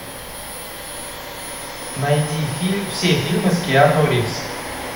найди все фильмы с киану ривз